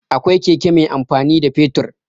Akwai keke mai amfani da fetur.